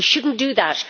We should not do that